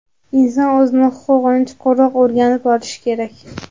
Inson o‘zini huquqini chuqurroq o‘rganib olishi kerak.